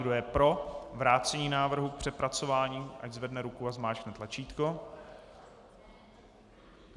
Kdo je pro vrácení návrhu k přepracování, ať zvedne ruku a zmáčkne tlačítko.